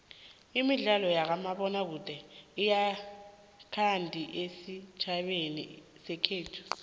imidlalo yakamabona kude ayikandi esitjhabeni sekhethu